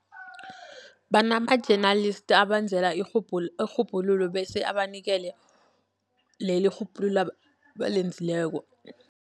Banama-journalist abenzela irhubhululo, bese abanikele leli irhubhululo abalenzileko.